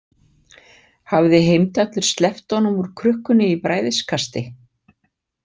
Hafði Heimdallur sleppt honum úr krukkunni í bræðiskasti?